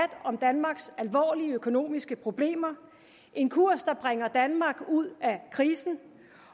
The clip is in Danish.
om danmarks alvorlige økonomiske problemer en kurs der bringer danmark ud af krisen